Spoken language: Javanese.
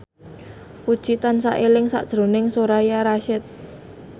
Puji tansah eling sakjroning Soraya Rasyid